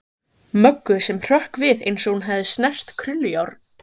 Möggu sem hrökk við eins og hún hefði snert krullujárn.